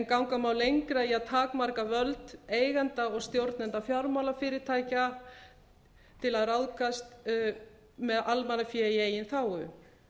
ganga má lengra í að takmarka völd eigenda og stjórnenda fjármálafyrirtækja til að ráðskast með almannafé í eigin þágu